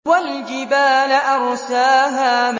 وَالْجِبَالَ أَرْسَاهَا